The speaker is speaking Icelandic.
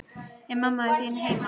Er mamma þín heima?